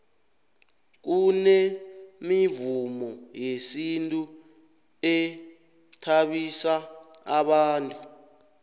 kunemivumo yesintu ethabisa bantu